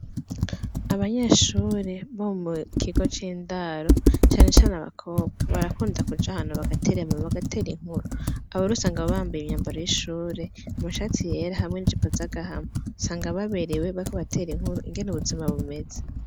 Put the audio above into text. Abanyeshure bo mu kigo c'indaro, cane cane abakobwa barakunda kuja ahantu bagatera inkuru, bagatera inkuru. Abo rero usanga bambaye imyambaro y'ishure, amashati yera hamwe n'ijipo z'agahama, usanga baberewe bariko baratera inkuru ingene ubuzima bumeze.